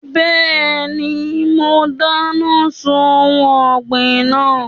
Bẹ́ẹ̀ni, mo dáná sun ohun ọ̀gbìn náà.